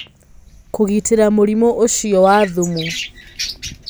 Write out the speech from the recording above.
Kũgitĩra mũrimũ ũcio wa thumu